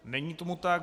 Není tomu tak.